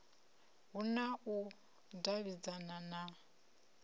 hu na u davhidzana na